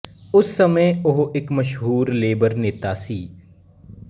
ਉਸ ਸਮੇਂ ਉਹ ਇੱਕ ਮਸ਼ਹੂਰ ਲੇਬਰ ਨੇਤਾ ਸੀ